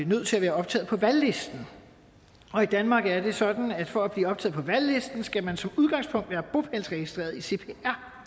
nødt til at være optaget på valglisten og i danmark er det sådan at for at blive optaget på valglisten skal man som udgangspunkt være bopælsregistreret i cpr